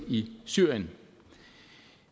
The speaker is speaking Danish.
i syrien